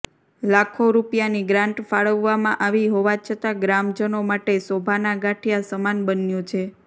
લાખો રૃપિયાની ગ્રાન્ટ ફાળવવામાં આવી હોવા છતાં ગ્રામજનો માટે શોભાના ગાંઠિયા સમાન બન્યુ છે